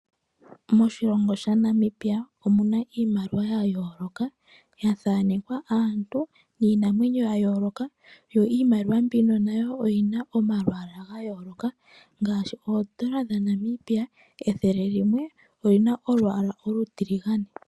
Moshilongo shaNamibia omuna iimaliwa yayooloka , yathanekwa aantu niinamwenyo yayoolokathana . Yo iimaliwa mbino nayo oyina omalwaala gayooloka ngaashi N$100 oyina olwaala olutiligane.